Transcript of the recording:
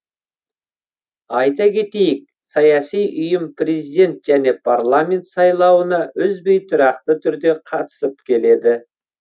айта кетейік саяси ұйым президент және парламент сайлауына үзбей тұрақты түрде қатысып келеді